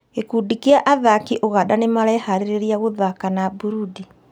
Gĩkundi kĩa athaki Ũganda nĩmareharĩria gũthaka na Burundi